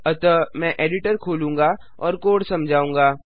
अतः मैं एडिटर खोलूँगा और कोड समझाऊँगा